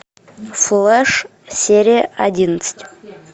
флэш серия одиннадцать